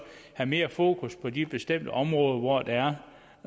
have mere fokus på de bestemte områder hvor der er